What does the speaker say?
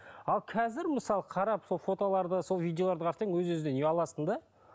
ал қазір мысалы қарап сол фотоларды сол видеоларды қарасаң өз өзіңнен ұяласың да